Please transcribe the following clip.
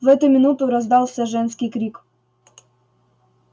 в эту минуту раздался женский крик